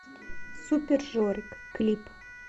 супер жорик клип